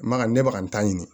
Maka ne bɛka ka n ta ɲini